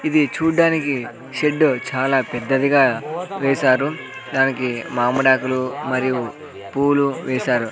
ఇది చూడ్డానికి షెడ్డు చాలా పెద్దదిగా వేశారు దానికి మామిడాకులు మరియు పూలు వేశారు.